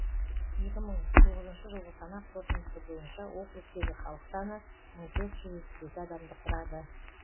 екі мың тоғызыншы жылғы санақ қорытындысы бойынша округтегі халық саны мың төрт жүз жетпіс екі адамды құрады